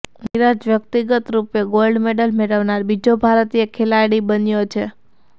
નિરજ વ્યક્તિગત રુપે gold medal મેળવનાર બીજો ભારતીય ખેલાડી બન્યો છે